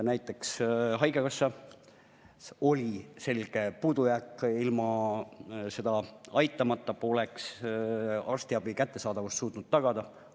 Näiteks haigekassas oli selge puudujääk ja ilma seda aitamata poleks arstiabi kättesaadavust suutnud tagada.